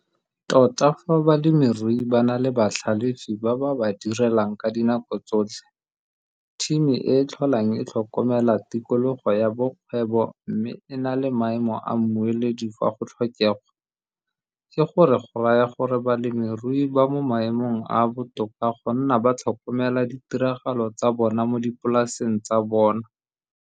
Tota fa balemirui ba na le batlhalefi ba ba ba direlang ka dinako tsotlhe, thimi e e tlholang e tlhokomela tikologo ya bokgwebo mme e na le maemo a mmueledi fa go tlhokegwa, ke go re go raya gore balemirui ba mo maemong a a botoka go nna ba tlhokomela ditiragalo tsa bona mo dipolaseng tsa bona.